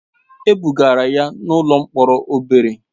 E bugara ya n'ụlọ mkpọrọ obere.